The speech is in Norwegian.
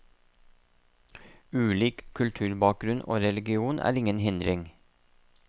Ulik kulturbakgrunn og religion er ingen hindring.